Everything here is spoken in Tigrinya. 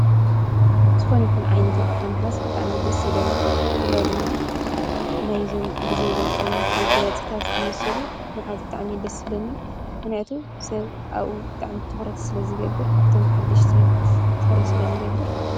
ዝኾን ይኹን ዓይነታሓ ምሓዝ ብጣም ይደ ሥለኒ ብፍለ ድማ ናይ ዞም ጊዜ ዘምጾም መጋያ ጽታ ስትምስሉ መሓዝ ብጣዕም ይደ ሥለኒ ምሕነያቱ ሰብ ኣኡ ብጣዕሚ እተዂረት ስለ ዝገብር ኣብቶም ሓድሽቲ ተዂረት ስለ ዝገብር።